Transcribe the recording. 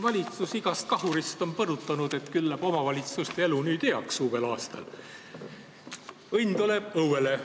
Valitsus on igast kahurist põrutanud, et küll läheb omavalitsuste elu uuel aastal heaks, õnn tuleb õuele.